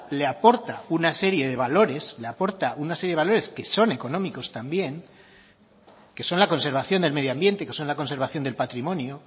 le aporta una serie de valores le aporta una serie de valores que son económicos también que son la conservación del medio ambiente que son la conservación del patrimonio